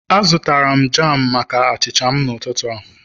Azụtara m jam maka achịcha m n'ụtụtụ a